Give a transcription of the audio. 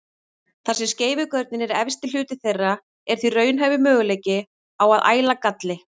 Þar sem skeifugörnin er efsti hluti þeirra er því raunhæfur möguleiki á að æla galli.